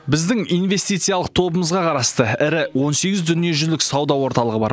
біздің инвестициялық тобымызға қарасты ірі он сегіз дүниежүзілік сауда орталығы бар